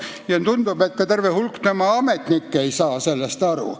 Ja tundub, et ka terve hulk tema ametnikke ei saa sellest aru.